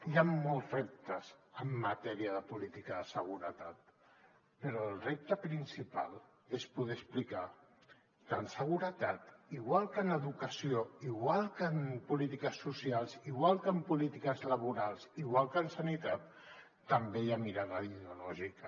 hi han molts reptes en matèria de política de seguretat però el repte principal és poder explicar que en seguretat igual que en educació igual que en polítiques socials igual que en polítiques laborals igual que en sanitat també hi ha mirada ideològica